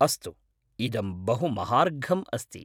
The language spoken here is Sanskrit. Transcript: अस्तु, इदं बहु महार्घम् अस्ति।